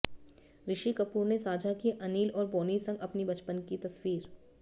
ऋषि कपूर ने साझा की अनिल और बोनी संग अपनी बचपन की तस्वीर